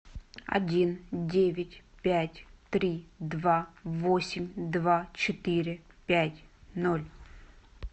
один девять пять три два восемь два четыре пять ноль